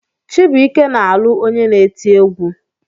Chibụike na-alụ onye na-eti egwu.